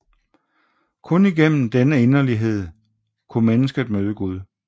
Kun igennem denne inderlighed kunne mennesket møde Gud